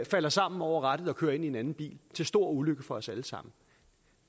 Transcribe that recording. falder sammen over rattet og kører ind i en anden bil til stor ulykke for os alle sammen